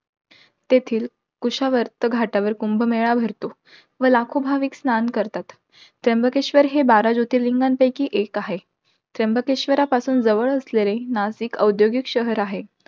तेथील कुशावर्त घाटावर कुंभमेळा भरतो. व लाखो भाविक स्नान करतात. त्र्यंबकेश्वर हे बारा जोतिर्लिंगांपैकी एक आहे. त्र्यंबकेश्वर पासून जवळ असलेले, नाशिक औद्योगिक शहर आहे.